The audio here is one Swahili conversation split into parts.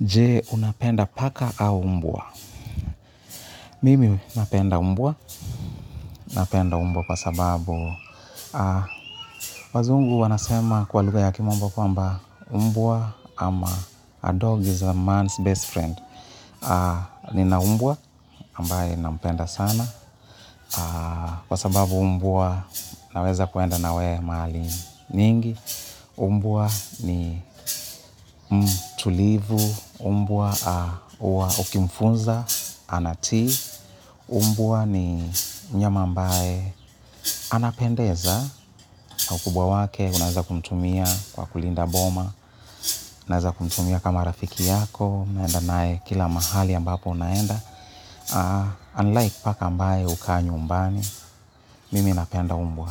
Je, unapenda paka au mbwa? Mimi napenda mbwa. Napenda mbwa kwa sababu, aah wazungu wanasema kwa lugha ya kimombo kwamba mbwa ama a dog is a man's best friend. Nina mbwa ambaye nampenda sana kwa sababu mbwa naweza kuenda nawe mahali nyingi. Mbwa ni mtulivu, mbwa huwa ukimfunza, anatii, mbwa ni mnyama ambaye anapendeza. Ukubwa wake, unaweza kumtumia kwa kulinda boma. Unaweza kumtumia kama rafiki yako. Unaenda nae kila mahali ambapo unaenda Unlike paka ambaye hukaa nyumbani, mimi napenda mbwa.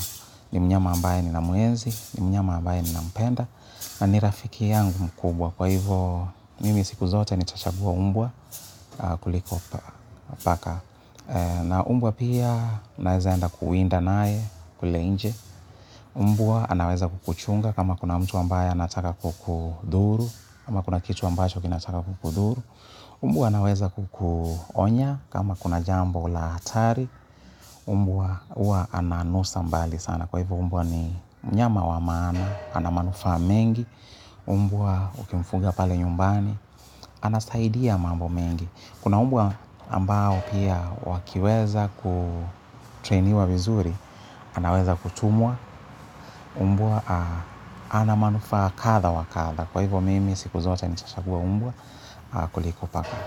Ni mnyama ambaye ninamenzi, ni mnyama ambaye ninampenda. Na ni rafiki yangu mkubwa. Kwa hivyo, mimi siku zote nitachagua mbwa kuliko paka. Na mbwa pia naweza enda kuwinda naye, kule nje. Mbwa anaweza kukuchunga kama kuna mtu ambaye anataka kukudhuru. Kama kuna kitu ambacho kinataka kukudhuru. Mbwa anaweza kukuonya kama kuna jambo la hatari. Mbwa huwa ananusa mbali sana. Kwa hivyo mbwa ni mnyama wa maana, ana manufaa mengi. Mbwa ukimfunza pale nyumbani, anasaidia mambo mengi. Kuna mbwa ambao pia wakiweza kutrainiwa vizuri, anaweza kutumwa mbwa ana manufaa kadha wa kadha. Kwa hivyo mimi siku zote nitachagua mbwa kuliko paka.